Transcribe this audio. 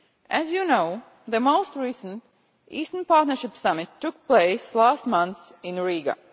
As you know, the most recent Eastern Partnership summit took place last month in Riga.